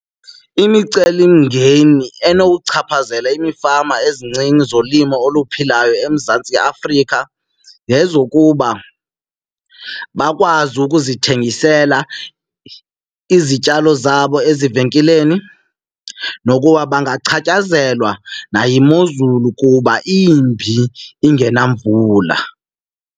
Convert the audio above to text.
Imicelimngeni enokuchaphazela imfama ezincinci zolimo oluphilayo eMzantsi Afrika zezokuba bakwazi ukuzithengisela izityalo zabo ezivenkileni nokuba bangachaphazelwa nayimozulu kuba imbi ingenavula.